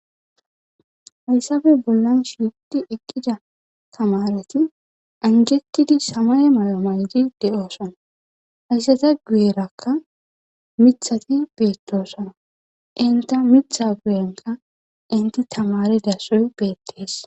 Hayssape bollan shiiqi eqqida tamareti anjetidi samay mala mayo maydi de7oosona hayssata guyerakka mithati beettosona inta mitha guyenka inti tamareda sohoy beettees.